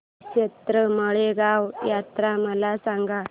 श्रीक्षेत्र माळेगाव यात्रा मला सांग